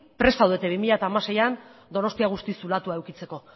prest zaudete bi mila hamaseian donostia guztiz zulatua edukitzeko